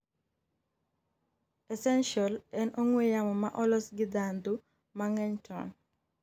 Essential en ong'we yamo ma olos gi ndhandhu mang'eny to n